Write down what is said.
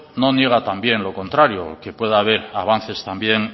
no niega también lo contrario que puede haber avances también